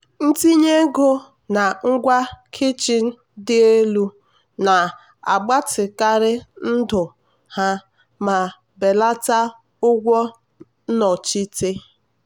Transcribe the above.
itinye ego na ngwa kichin dị elu na-agbatịkarị ndụ ha ma belata ụgwọ nnọchite.